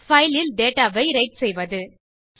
file ல் data ஐ write செய்வது